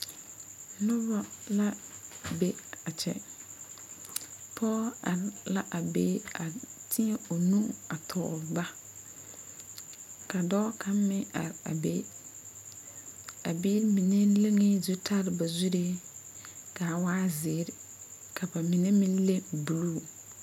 Noba la be a kyɛ pɔge are la a be teɛ o nu tɔgle ba ka dɔɔ kaŋ meŋ are a be a biiri mine leŋ la zutare ba zuriŋ ka a waa zeere ka mine meŋ le ka a waa buluu.